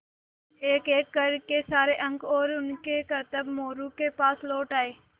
एकएक कर के सारे अंक और उनके करतब मोरू के पास लौट आये